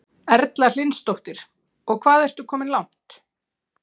Erla Hlynsdóttir: Og hvað ertu komin langt?